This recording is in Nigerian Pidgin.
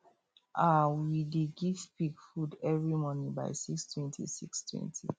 um we dey give pig food every morning by 620 620